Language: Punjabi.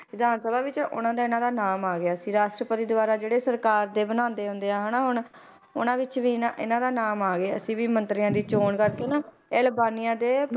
ਵਿਧਾਨ ਸਭਾ ਵਿੱਚ ਉਹਨਾਂ ਤੇ ਇਹਨਾਂ ਦਾ ਨਾਮ ਆ ਗਿਆ ਸੀ, ਰਾਸ਼ਟਰਪਤੀ ਦੁਆਰਾ ਜਿਹੜੇ ਸਰਕਾਰ ਦੇ ਬਣਾਉਂਦੇ ਹੁੰਦੇ ਆ ਹਨਾ ਹੁਣ, ਉਹਨਾਂ ਵਿੱਚ ਵੀ ਇਹਨਾਂ ਇਹਨਾਂ ਦਾ ਨਾਮ ਆ ਗਿਆ ਸੀ ਵੀ ਮੰਤਰੀਆਂ ਦੀ ਚੌਣ ਕਰਕੇ ਨਾ ਇਹ ਅਲਬਾਨੀਆ ਦੇ